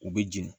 U bɛ jeni